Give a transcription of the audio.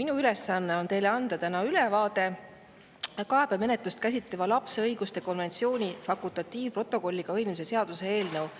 Minu ülesanne on anda ülevaade kaebemenetlust käsitleva lapse õiguste konventsiooni fakultatiivprotokolliga ühinemise seaduse eelnõu